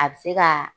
A bɛ se ka